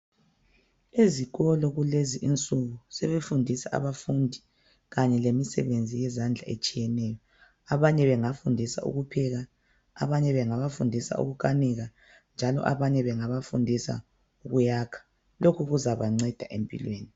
Ezikolo kulezinsuku sebefundisa abafundi kanye lemisebenzi yezandla etshiyeneyo. Abanye bengafundisa ukupheka abanye bengabafundisa ukukanika njalo abanye bengabafundisa ukuyakha, lokhu kuzabanceda empilweni